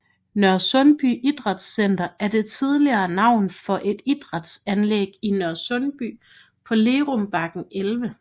Nørresundby Idrætcenter er det tidligere navn for et idrætsanlæg i Nørresundby på Lerumbakken 11